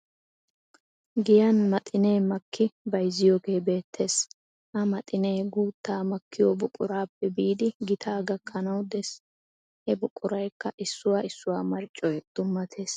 Giyan maxinee makki bayizziyogee beettes. Ha maxinee guuttaa makkiyo buquraappe biidi gitaa gakkanawu des. He buqurayikka issuwa issuwa marccoy dummatees.